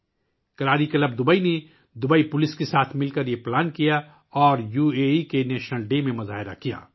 Kalari club Dubai نے Dubai police کے ساتھ مل کر اس کی منصوبہ بندی کی اور اسے متحدہ عرب امارات کے قومی دن پر دکھایا